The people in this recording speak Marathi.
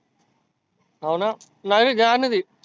हावना नाही रे देणार नाही ती.